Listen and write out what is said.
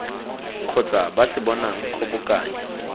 kgotsa ba se bonang kgobokanyo